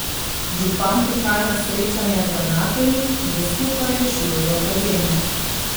Župan prihaja na srečanja z ravnatelji, da skupaj rešujejo probleme.